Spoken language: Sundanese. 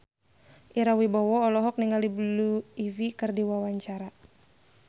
Ira Wibowo olohok ningali Blue Ivy keur diwawancara